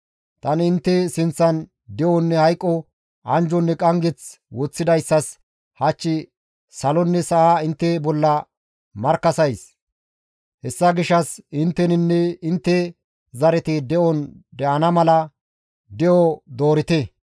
Tani intte sinththan de7onne hayqo, anjjonne qanggeth woththidayssas hach salonne sa7aa intte bolla markkasays; hessa gishshas intteninne intte zareti de7on de7ana mala de7o doorite.